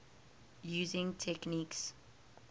using techniques